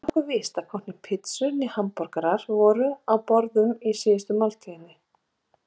Það er nokkuð víst að hvorki pitsur né hamborgarar voru á borðum í síðustu kvöldmáltíðinni.